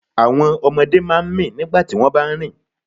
Àwọn ọmọdé máa ń mì nígbà tí wọ́n bá ń rìn.